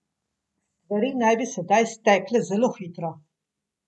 Stvari naj bi sedaj stekle zelo hitro.